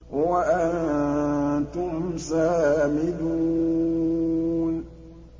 وَأَنتُمْ سَامِدُونَ